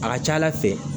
A ka ca ala fɛ